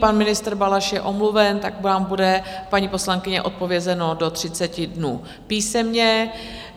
Pan ministr Balaš je omluven, tak vám bude, paní poslankyně, odpovězeno do 30 dnů písemně.